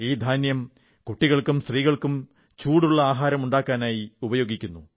ഈ ധാന്യം കുട്ടികൾക്കും സ്ത്രീകൾക്കും ചൂടുള്ള ആഹാരം ഉണ്ടാക്കാനായി ഉപയോഗിക്കുന്നു